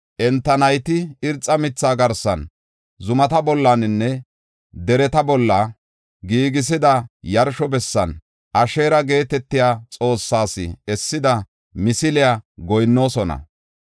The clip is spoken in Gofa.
Enta nayti irxa mitha garsan, zumata bollanne dereta bolla giigisida yarsho bessan Asheera geetetiya xoossees essida misiliya goyinnoosona.